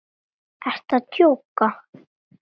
Ertu að djóka!?